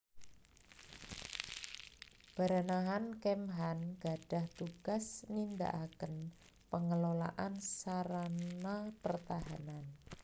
Baranahan Kemhan gadhah tugas nindakaken pengelolaan sarana pertahanan